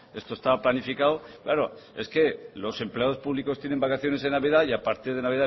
esto está planificado claro es que los empleados públicos tienen vacaciones en navidad y a partir de navidad